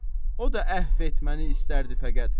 O da əhv etməni istərdi fəqət.